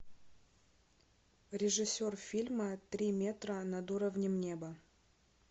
режиссер фильма три метра над уровнем неба